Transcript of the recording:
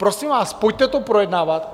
Prosím vás, pojďte to projednávat.